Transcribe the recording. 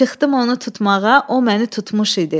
Çıxdım onu tutmağa, o məni tutmuş idi.